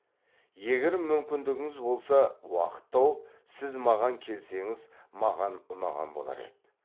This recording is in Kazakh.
егер мүмкіндігіңіз болса уақыт тауып сіз маған келсеңіз маған ұнаған болар еді